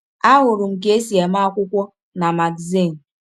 Ahụrụ m ka e si eme akwụkwọ na magazin.